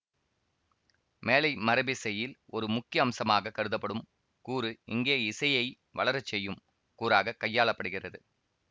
மேலை மரபிசையில் ஒரு முக்கிய அம்சமாகக் கருதப்படும் கூறு இங்கே இசையை வளரச்செய்யும் கூறாக கையாளப்படுகிறது